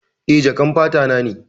Eh, jakan fata na ne.